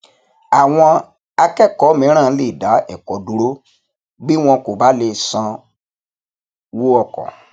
àwọn akẹkọọ mìíràn lè dá ẹkọ dúró bí wọn kò bá le sanwó ọkọ